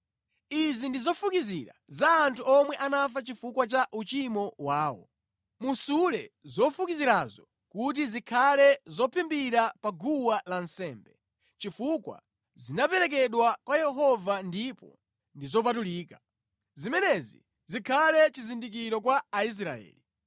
Izi ndi zofukizira za anthu omwe anafa chifukwa cha uchimo wawo. Musule zofukizirazo kuti zikhale zophimbira pa guwa lansembe, chifukwa zinaperekedwa kwa Yehova ndipo ndi zopatulika. Zimenezi zikhale chizindikiro kwa Aisraeli.”